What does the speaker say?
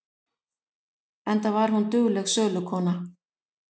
Enda var hún dugleg sölukona.